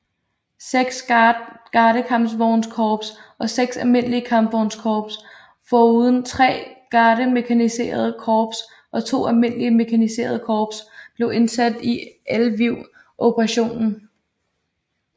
Seks gardekampvognskorps og seks almindelige kampvognskorps foruden tre gardemekaniserede korps og to almindelige mekaniserede korps blev indsat i Lviv operationen